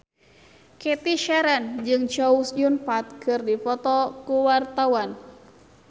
Cathy Sharon jeung Chow Yun Fat keur dipoto ku wartawan